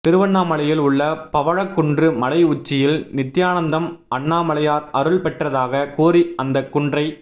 திருவண்ணாமலையில் உள்ள பவழக்குன்று மலை உச்சியில் நித்தியானந்தம் அண்ணாமலையார் அருள் பெற்றதாக கூறி அந்த குன்றை